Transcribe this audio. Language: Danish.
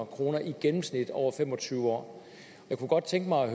kroner i gennemsnit over fem og tyve år jeg kunne godt tænke mig at